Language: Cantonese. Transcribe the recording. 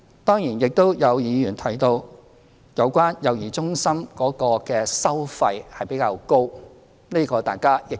當然，亦有議員提到有關幼兒中心的收費比較高，這情況大家亦知悉。